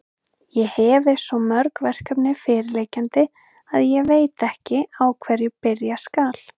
Ég hefi svo mörg verkefni fyrirliggjandi, að ég veit ekki, á hverju byrja skal.